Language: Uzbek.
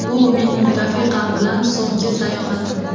Bu mening rafiqam bilan so‘nggi sayohatim.